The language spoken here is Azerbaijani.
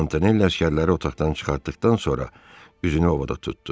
Montanelli əsgərləri otaqdan çıxartdıqdan sonra üzünü Ovoda tutdu.